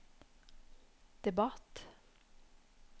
debatt